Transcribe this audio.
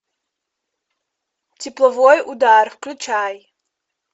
тепловой удар включай